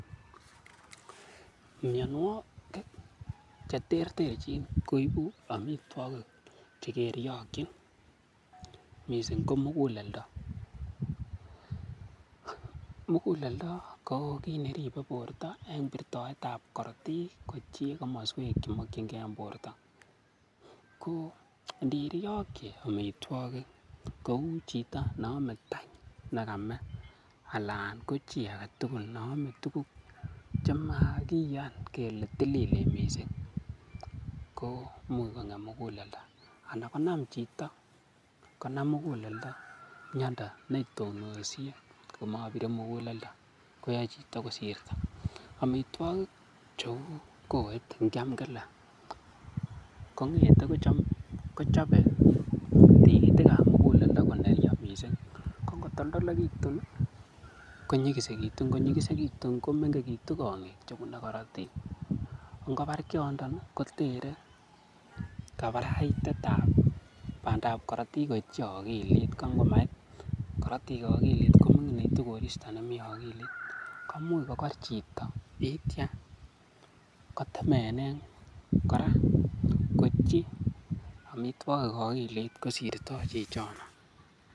Mianwogik che terterchin koibu amitwogik che keryogin mising ko muguleldo. Muguleldo ko kit ne ribe borto en birtoet ab korotik koityi komoswek che mokinge en borto. Ko ndiryoki amitwogik kou chito ne ome tany ne kame, alan ko chi age tugul neome tuguk chemakiyan kele tililen mising, ko imuch kong'em muguleldo, ana kong'em chito konam muguleldo miondo ne tononsiin, komobire muguleldo koyai chito kosirto. Amitwogik cheu kowet ngyam kila, kong'ete kochobe tigitika ab muguleldo koneryo mising ko ngotoltolegitun konyigisegitun. Ngonyigisegitun ko menge gitu kong'ik chebune korotik ngobar kiyondon kotere kabaraitet ab korotik koityi ogilit ko ngomait korotik ogilit koming'initu koristo nemi ogilit komuch kokor chito yeityo kotemenen kora koityi amitwogik ogilit kosirtoi chichono.